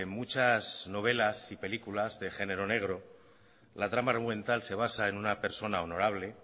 muchas novelas y películas de género negro la trama argumental se basa en una persona honorable